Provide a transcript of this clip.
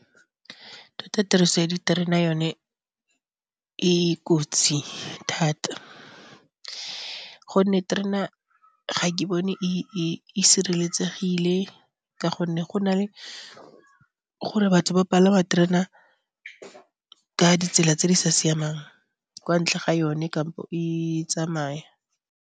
Tota tiriso ya diterena yone e kotsi thata gonne terena ga ke bone e sireletsegile, ka gonne go na le gore batho ba palama terena ka ditsela tse di sa siamang kwa ntle ga yone kampo e tsamaya.